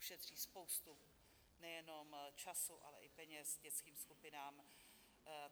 Ušetří spoustu, nejen času, ale i peněz dětským skupinám.